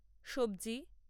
সবজি